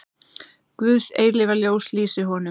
Guðs eilífa ljós lýsi honum.